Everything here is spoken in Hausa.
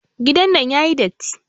Gidan nan yayi datti.